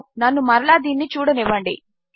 నన్ను మరలా దీనిని చూడనివ్వండి